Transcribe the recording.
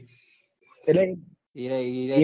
એટલેઈમ એરાઈ ઈ